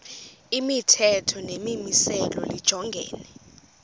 imithetho nemimiselo lijongene